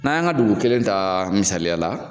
Na yan ka dugu kelen ta misaliya la